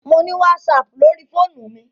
Mo ni WhatsApp lórí fóònù mi.